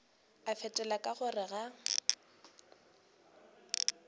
a fetola ka gore ga